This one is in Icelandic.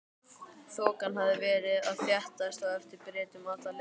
Þokan hafði verið að þéttast á eftir Bretum alla leiðina.